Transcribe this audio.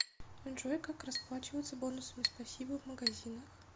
джой как расплачиваться бонусами спасибо в магазинах